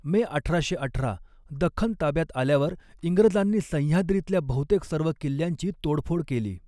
मे अठराशे अठरा दख्खन ताब्यात आल्यावर इंग्रजांनी सह्याद्रीतल्या बहुतेक सर्व किल्ल्यांची तोडफोड केली.